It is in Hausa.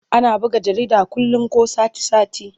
Ana buga jarida kullum ko sati-sati.